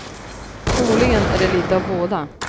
Troligen är det litet av båda.